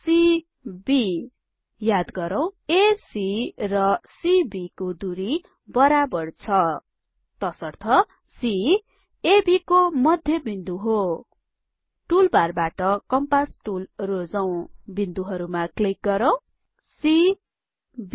cबी याद गरौँ एसी र CBको दुरी बराबर छ तसर्थ C एबी को मध्य बिन्दु हो टुलबारबाट कम्पास टुल रोजौं बिन्दुहरुमा क्लिक गरौँ सी बी